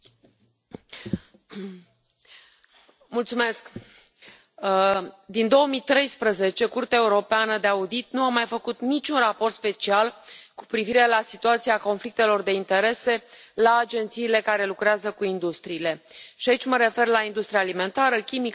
Domnule președinte, din 2013, Curtea de Conturi Europeană nu a mai făcut niciun raport special cu privire la situația conflictelor de interese la agențiile care lucrează cu industriile și aici mă refer la industria alimentară, chimică, a medicamentelor, aviatică sau a căilor ferate.